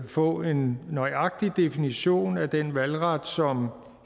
få en nøjagtig definition af den valgret som